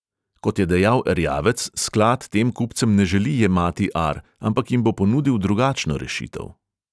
Kot je dejal erjavec, sklad tem kupcem ne želi jemati ar, ampak jim bo ponudil drugačno rešitev.